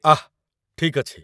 ଆଃ! ଠିକ୍ ଅଛି।